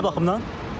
Nə baxımdan?